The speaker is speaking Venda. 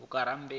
vhakerube